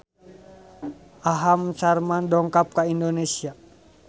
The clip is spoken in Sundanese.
Aham Sharma dongkap ka Indonesia